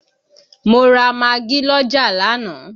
Mo ra magí l'ọ́jà lánàá